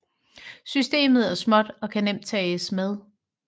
Systemet er småt og kan nemt tages med